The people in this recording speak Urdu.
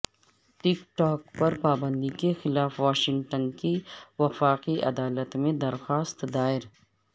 ٹک ٹاک پر پابندی کے خلاف واشنگٹن کی وفاقی عدالت میں درخواست دائر